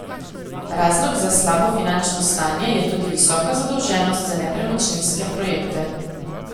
Razlog za slabo finančno stanje je tudi visoka zadolženost za nepremičninske projekte.